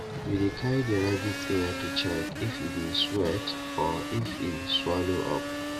we dey carry the rabbit ear to check if e dey sweat or if e swallow up